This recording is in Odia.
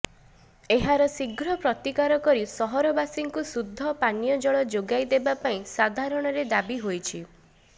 ଏହାର ଶୀଘ୍ର ପ୍ରତିକାର କରି ସହରବାସୀଙ୍କୁ ଶୁଦ୍ଧ ପାନୀୟଜଳ ଯୋଗାଇ ଦେବାପାଇଁ ସାଧାରଣରେ ଦାବି ହୋଇଛି